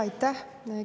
Aitäh!